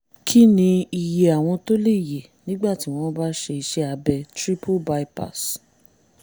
kí ni iye àwọn tó lè yè nígbà tí wọ́n bá ṣe iṣẹ́ abẹ triple bypass?